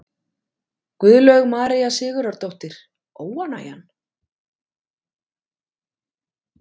Guðlaug María Sigurðardóttir: Óánægjan?